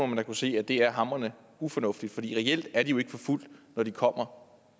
man da kunne se at det er hamrende ufornuftigt fordi reelt er de jo ikke forfulgt når de kommer